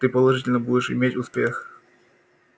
ты положительно будешь иметь успех